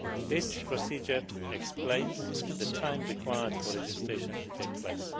This procedure explains the time required for registration to take place.